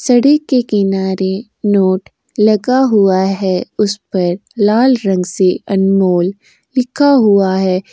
सड़क के किनारे नोट लगा हुआ है। उस पर लाल रंग से अनमोल लिखा हुआ है।